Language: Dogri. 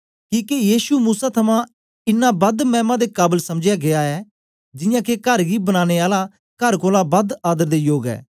किके यीशु मूसा थमां इनां बद मैमा दे काबल समझा गीया ऐ जियां के कर गी बनाने आला कर कोलां बद आदर दे योग ऐ